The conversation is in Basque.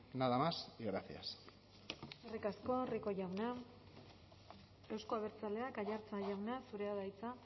nada más y gracias eskerrik asko rico jauna euzko abertzaleak aiartza jauna zurea da hitza